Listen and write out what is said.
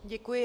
Děkuji.